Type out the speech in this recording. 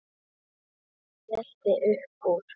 Hann skellti upp úr.